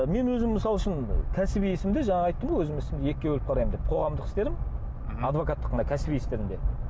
ы мен өзім мысал үшін кәсіби ісімді жаңа айттым ғой өзім ісімді екіге бөліп қараймын деп қоғамдық істерім адвокаттық мына кәсіби істерім деп